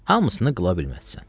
Hamısını qıla bilməzsən.